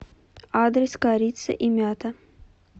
адрес корица и мята